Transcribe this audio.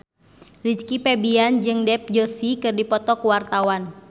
Rizky Febian jeung Dev Joshi keur dipoto ku wartawan